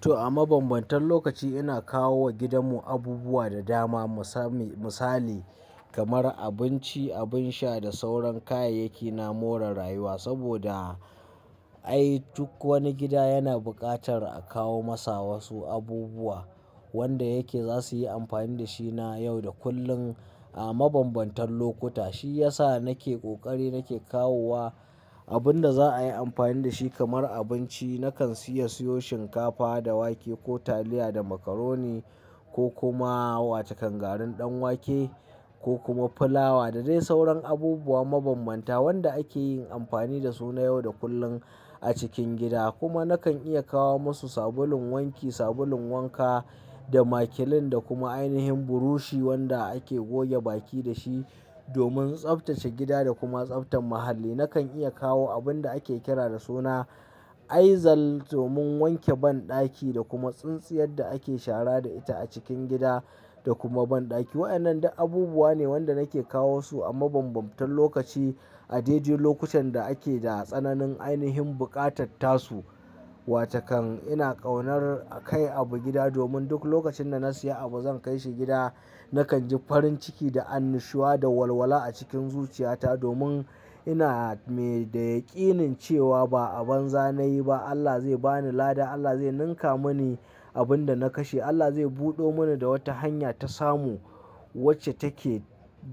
To a mabambantan lokaci ina kawo wa gidanmu abubuwa da dama mu sami Misali kamar abinci, abin sha da sauran kayayyaki na more rayuwa. Saboda ai duk wani gida yana buƙatar a kawo masa wasu abubuwa wanda yake za suyi amfani da shi na yau da kullin a mabambantan lokuta. Shiyasa nake ƙoƙari nake kawowa abun da za'ayi amfani da shi kamar abinci. Nakan siya siyo shinkafa da wake ko taliya da macaroni ko kuma watakan garin ɗan wake ko kuma fulawa da dai sauran abubuwa mabambanta wanda ake yin amfani dasu na yau da kullum a cikin gida. Kuma nakan iya kawo masu sabulun wanki, sabulun wanka, da makilin da kuma ainihin burushi wanda ake goge baki dashi domin tsaftace gida da kuma tsaftar muhalli. Nakan iya kawo abunda ake kira da suna Aizal domin wanke banɗaki da kuma tsintsiyar da ake shara da ita a cikin gida da kuma banɗaki. Wa'yannan du abubuwa ne wanda nake kawo su a mabambantan lokaci a dai dai lokutan da ake da tsananin ainihin buƙatattasu. Wa takan ina ƙaunar a kai abu gida domin duk lokacin da na siya abu zan kai shi gida. Nakan ji farin ciki da annushuwa da walwala a cikin zuciyata domin ina me da yaƙinin cewa ba a banza nayi ba Allah zai bani lada. Allah zai ninka mani abinda na kashe, Allah zai buɗo mani da wata hanya ta samu wacce take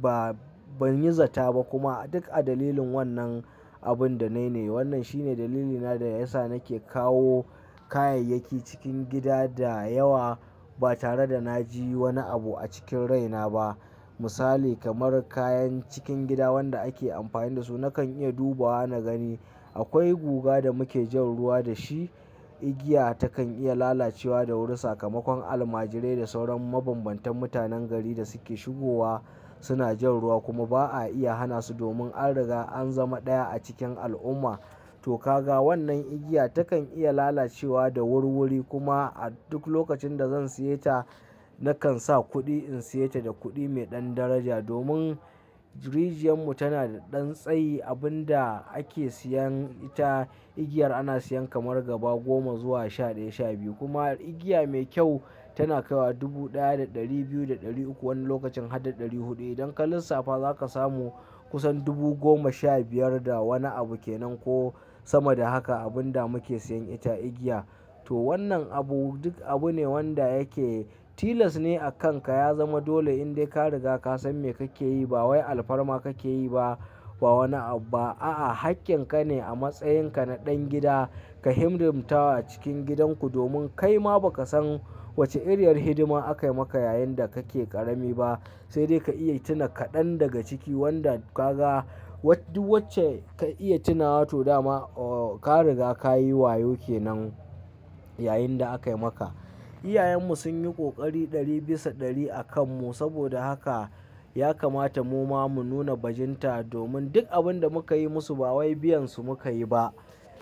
ba banyi zata ba kuma duk a dalilin wannan abunda nayi ne. Wannnan shine dalili na da yasa nake kawo kayayyaki cikin gida da yawa ba tare da naji wani abu a cikin raina ba. Misali kamar kayan cikin gida wanda ake amfani da su nakan iya duba na gani. Akwai guga da muke jan ruwa da shi, igiya ta kan iya lalacewa da wuri. Sakamakon almajirai da sauran mabambantan mutanen gari da suke shigowa suna jan ruwa kuma ba'a iya hana su domin an riga an zama ɗaya a cikin al'umma. To kaga wannan igiya takan iya lalacewa da wurwuri kuma a duk lokacin da zan siya ta nakan sa kuɗi in siya ta da kuɗi mai ɗan daraja domin rijiyar mu tana da ɗan tsayi. Abun da ake siyan ita igiyar ana siyan kamar gaba goma zuwa shaɗaya, shaɓiyu kuma igiya mai kyau tana kaiwa dubu ɗaya da ɗari biyu da ɗari uku wani lokacin har da ɗari huɗu. Idan ka lissafa za ka samu kusan dubu goma sha biyar da wani abu kenan ko sama da haka abun da muke siyan ita igiya. To wannan abu duk abu ne wanda yake tilas ne a kanka ya zama dole in dai ka riga kasan me kake yi. Ba wai alfarma kake yi ba, ba wani abu ba. A'a, haƙƙin kane a matsayin ka na ɗan gida ka himdimta wa cikin gidanku domin kaima ba kasan wacce iriyar hidima akai maka yayin da kake ƙarami ba. Sai dai ka iya tuna kaɗan daga ciki wanda ka ga wacce ka iya tuna wa to dama ka riga kayi wayo kenan yayin da aka yi maka. Iyayenmu sun yi ƙoƙari ɗari bisa ɗari a kan mu saboda haka ya kamata muma mu nuna bajinta domin duk abun da muka yi musu ba wai biyansu muka yi ba.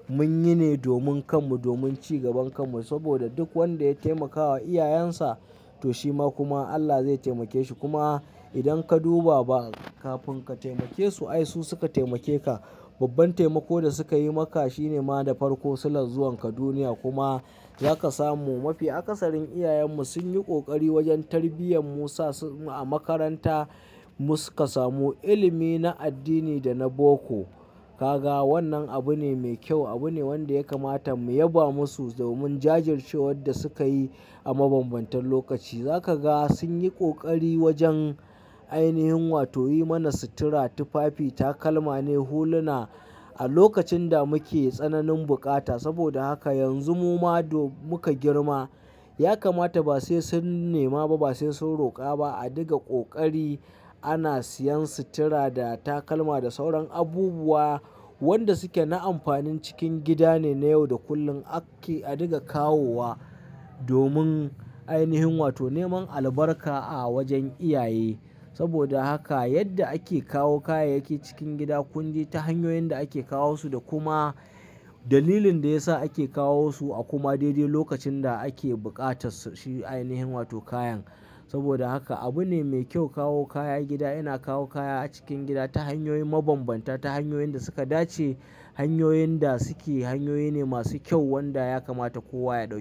Mun yi ne domin kan mu, domin cigaban kan mu. Saboda duk wanda ya taimakawa iyayensa to shima kuma Allah zai taimake shi. Kuma idan ka duba ba kafin ka taimake su ai su suka taimake ka. Babban taimako da suka yi maka shine ma da farko sulan zuwanka duniya kuma za ka samu mafi. A kasarin iyayenmu sunyi ƙoƙari wajen tarbiyyar mu. Sa su a makaranta mu suka samu ilimi na addini da na boko. Ka ga wannan abu ne mai kyau, abu ne wanda ya kamata mu yaba musu domin jajircewar da suka yi a mabambantan lokaci. Za kaga sunyi ƙoƙari wajan ainihin wato yi mana sutura, tufafi, takalma ne, huluna a lokacin da muke tsananin bukata. Saboda haka yanzu muma do muka girma ya kamata ba sai sun nema ba, ba sai sun roƙa ba. A diga ƙoƙari ana siyan sitira da takalma da sauran abubuwa wanda suke na amfanin cikin gida ne. Na yau da kullum ake a diga kawo wa domin ainihin wato neman albarka a wajen iyaye. Saboda haka yadda ake kawo kayayyaki cikin gida, kun ji ta hanyoyin da ake kawo su da kuma dalilin da yasa ake kawo su a kuma daidai lokacin da ake buƙatassu shi ainihin wato kayan. Saboda haka abu ne mai kyau kawo kaya gida. Ina kawo kaya a cikin gida ta hanyoyin mabambanta, ta hanyoyin da suka dace, hanyoyin da suke hanyoyi ne masu kyau wanda ya kamata kowa ya ɗauki.